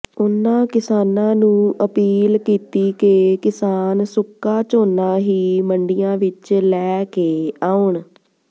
ਉਨ੍ਹਾਂ ਕਿਸਾਨਾਂ ਨੂੰ ਅਪੀਲ ਕੀਤੀ ਕਿ ਕਿਸਾਨ ਸੁੱਕਾ ਝੋਨਾ ਹੀ ਮੰਡੀਆਂ ਵਿਚ ਲੈ ਕੇ ਆਉਣ